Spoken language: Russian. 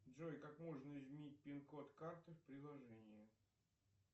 джой как можно изменить пин код карты в приложении